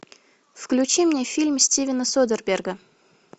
включи мне фильм стивена содерберга